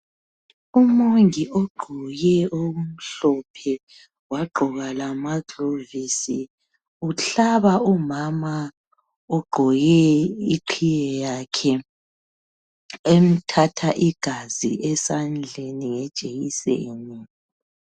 Umongi ogqoke okumhlophe wagqoka lamaglovisi uhlaba umama ogqoke iqhiye yakhe, emthatha igazi esandleni ngejekiseni.